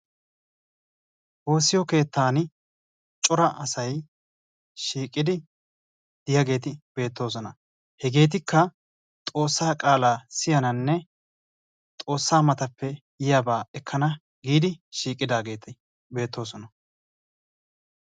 woossiyo keettan cora asay shiiqidi diyaageti beettosona heetikka xoossa qaala siyananne xoossa matappe yiyaaba ekana giidi shiiqidaeeti beettosona